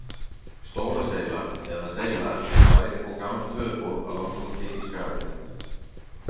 Stóra-Seyla eða Seyla er bær og gamalt höfuðból á Langholti í Skagafirði.